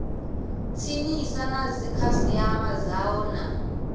tsinisa na dzikhasiama dzao na